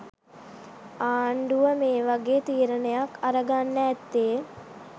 ආණ්ඩුව මේ වගේ තීරණයක් අරගන්න ඇත්තේ